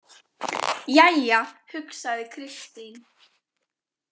Jæja, hugsaði Kristín.